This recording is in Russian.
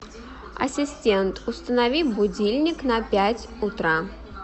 ассистент установи будильник на пять утра